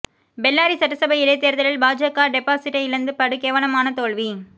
பெல்லாரி சட்டசபை இடைத் தேர்தலில் பாஜக டெபாசிட்டை இழந்து படு கேவலமான தோல்வி